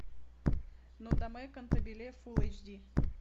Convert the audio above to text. нодамэ кантабиле фулл эйч ди